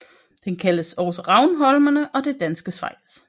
Den kaldes også Ravnholmene og Det Danske Schweiz